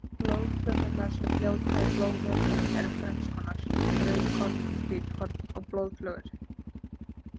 Blóðfrumurnar sem fljóta í blóðvökvanum eru þrennskonar, rauðkorn, hvítkorn og blóðflögur.